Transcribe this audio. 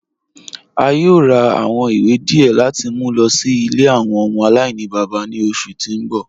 A yòò rà awọn ìwé díẹ̀ láti mú lọ sí ilẹ̀ awọn ọmọ alainibaba ní oṣù tí n bọ̀.